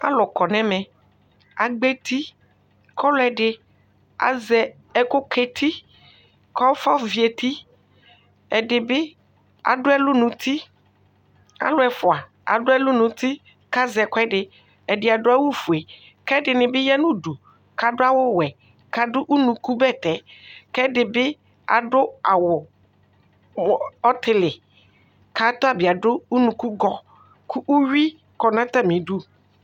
Alʋ kɔnʋ ɛmɛ agbɔ eti kʋ ɔlɛdi azɛ ɛkʋka eti kʋ afɔvi eti ɛdibi alʋ ɛfʋa adʋ alʋ nʋ uti kʋ azɛ ɛkʋɛdi ɛdi adʋ awʋfue kʋ ɛdini bi yanʋ ʋdʋ kʋ adʋ awʋwɛ kʋ adʋ ʋnʋkʋ bɛtɛ kʋ ɛdibi badʋ awʋ ɔtili kʋ atabi adʋ ʋnʋkʋgi kʋ uwi kɔnʋ atami idʋ